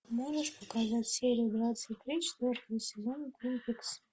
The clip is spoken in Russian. можешь показать серию двадцать три четвертого сезона твин пикс